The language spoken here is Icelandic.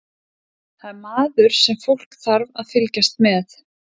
Það er maður sem fólk þarf að fylgjast með.